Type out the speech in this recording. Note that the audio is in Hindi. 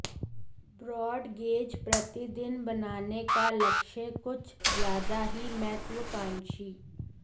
ब्रॉड गेज प्रतिदिन बनाने का लक्ष्य कुछ ज्यादा ही महत्वाकांक्षी